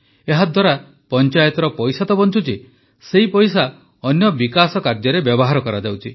ଏହାଦ୍ୱାରା ପଂଚାୟତର ପଇସା ତ ବଂଚୁଛି ସେହି ପଇସା ଅନ୍ୟ ବିକାଶ କାର୍ଯ୍ୟରେ ବ୍ୟବହାର କରାଯାଉଛି